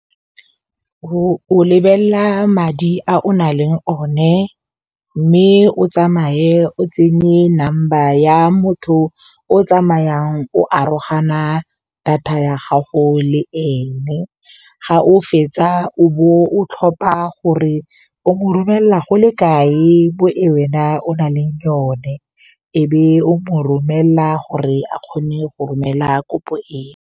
O lebelela madi a o nang le one mme o tsamaye o tsenye number ya motho o tsamayang o arogana data ya gago le ene, ga o fetsa o bo o tlhopha gore o mo romelela go le kae mo e wena o na le yone e be o mo romelela gore a kgone go romela kopo eo.